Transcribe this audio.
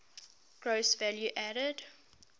gross value added